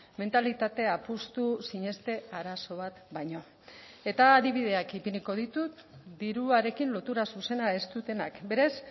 mentalitate apustu sineste arazo bat baino eta adibideak ipiniko ditut diruarekin lotura zuzena ez dutenak berez